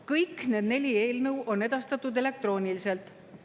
Kõik need neli eelnõu on edastatud elektrooniliselt.